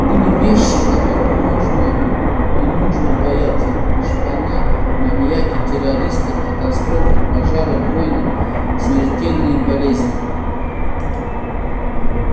были вещи которых можно и нужно бояться шпана маньяки террористы катастрофы пожары войны смертельные болезни